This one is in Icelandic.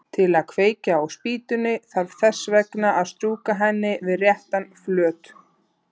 Til að kveikja á spýtunni þarf þess vegna að strjúka henni við réttan flöt.